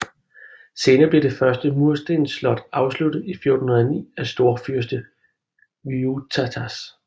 Senere blev det første murstensslot afsluttet i 1409 af storfyrste Vytautas